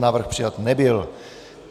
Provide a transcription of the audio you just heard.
Návrh přijat nebyl.